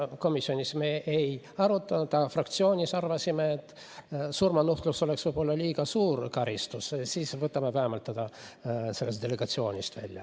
Seda me komisjonis ei arutanud, aga fraktsioonis arvasime, et kuna surmanuhtlus oleks võib-olla liiga suur karistus, siis võtame ta vähemalt delegatsioonist välja.